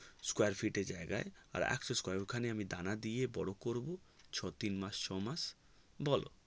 Square fit জায়গায় আর x Square ওখানে আমি দানা দিয়ে বোরো করবো তিন মাস ছ মাস বোলো